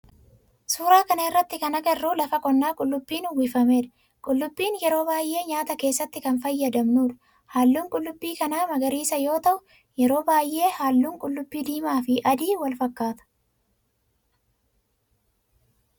suuraa kana irratti kan agarru lafa qonnaa qullubbiin uwwifameedha. qullubbiin yeroo baayyee nyaata keessatti kan fayyadamamuudha. halluun qullubbii kana magariisa yoo ta'u yeroo baayyee halluun qullubbii diimaa fi adii walfakkaata.